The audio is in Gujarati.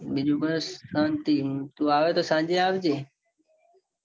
બીજું બસ શાંતિ તું આવે તો સાંજે આવજે.